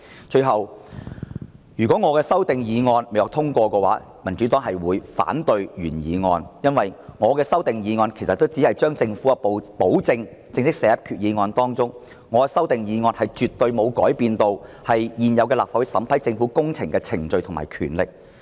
最後，如果我的修訂議案不獲通過，民主黨就會反對原議案，因為我的修訂議案只是把政府的保證正式寫入決議案當中，修訂議案絕對沒有改變立法會審批政府工程的現有程序及權力。